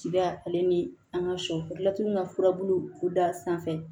Cida ale ni an ka sɔ laturu ka furabulu d'a sanfɛ